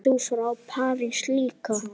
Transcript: Ert þú frá París líka?